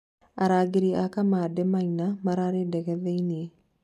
arangĩri a kamande maina mararĩ ndege thĩinĩ